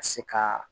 Ka se ka